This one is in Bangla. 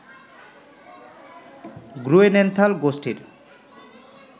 গ্রুয়েনেনথাল গোষ্ঠীর